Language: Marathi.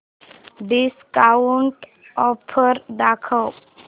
डिस्काऊंट ऑफर दाखव